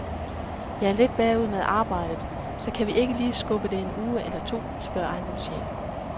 Jeg er lidt bagud med arbejdet, så kan vi ikke lige skubbe det en uge eller to, spørger ejendomschefen.